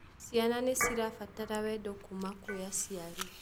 Cĩana nĩ cĩrabatara wendo kũuma kwĩ acĩari